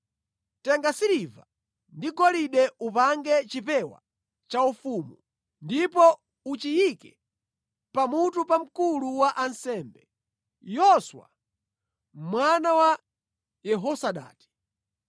Tenga siliva ndi golide upange chipewa chaufumu, ndipo uchiyike pamutu pa mkulu wa ansembe, Yoswa mwana wa Yehozadaki.